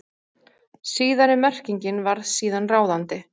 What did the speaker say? Síðari merkingin varð síðan ráðandi.